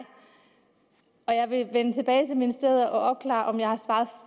jeg vil vende tilbage til ministeriet og opklare om jeg har svaret